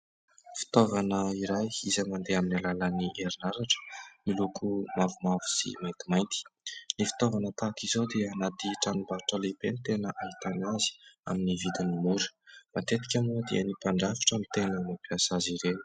Fitaovana iray izay mandeha amin'ny alalan'ny herinaratra, miloko mavomavo sy maintimainty. Ny fitaovana tahaka izao dia anaty tranombarotra lehibe no tena ahitana azy, amin'ny vidiny mora. Matetika moa dia ny mpandrafitra no tena mampiasa azy ireo.